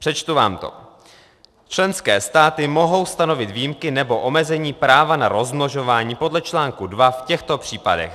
Přečtu vám to: Členské státy mohou stanovit výjimky nebo omezení práva na rozmnožování podle článku 2 v těchto případech: